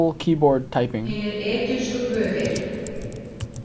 Hinir egypsku guðir.